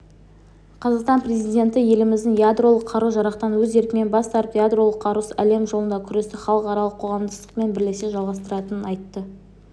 қазақстан президенті еліміздің ядролық қару-жарақтан өз еркімен бас тартып ядролық қарусыз әлем жолындағы күресті халықаралық қоғамдастықпен бірлесе жалғастыратынын айтты